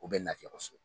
O bɛ lafiya kosɛbɛ